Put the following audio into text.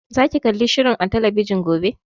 Za ki kalli shirin a talabijin gobe?